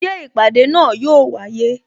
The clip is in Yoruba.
Ṣé ìpàdé náà yo wáyé?